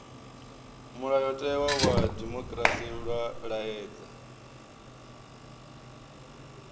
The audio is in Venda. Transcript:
mulayotewa wa dimokirasi wa laedza